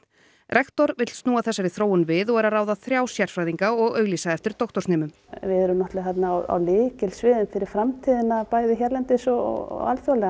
rektor vill snúa þessari þróun við og er að ráða þrjá sérfræðinga og auglýsa eftir doktorsnemum við erum náttúrulega á lykilsviði fyrir framtíðina bæði hérlendis og